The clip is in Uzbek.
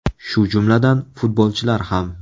Shu jumladan, futbolchilar ham.